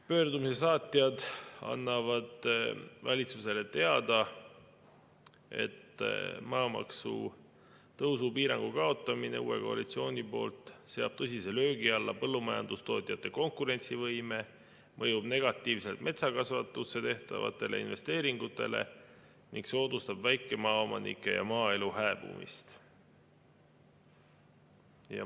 Pöördumise saatjad annavad valitsusele teada, et maamaksu tõusu piirangu kaotamine uue koalitsiooni poolt seab tõsise löögi alla põllumajandustootjate konkurentsivõime, mõjub negatiivselt metsakasvatusse tehtavatele investeeringutele ning soodustab väikemaaomanike ja maaelu hääbumist.